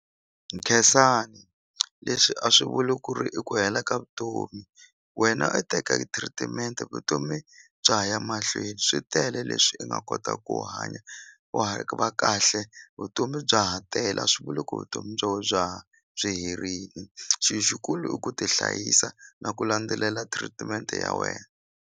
Khensani leswi a swi vuli ku ri i ku hela ka vutomi wena i teka treatment-e vutomi bya ha ya mahlweni swi tele leswi i nga kota ku hanya va kahle vutomi bya ha tele a swi vuli ku vutomi bya we bya byi herini xi xikulu i ku ti hlayisa na ku landzelela treatment ya wena.